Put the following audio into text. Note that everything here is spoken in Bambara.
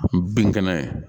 Bin kɛnɛ